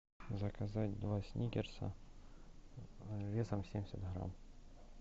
заказать два сникерса весом семьдесят грамм